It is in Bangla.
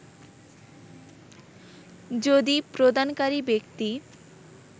যদি প্রদানকারী ব্যক্তি